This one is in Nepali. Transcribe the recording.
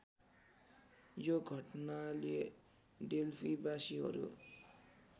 यो घटनाले डेल्फीबासीहरू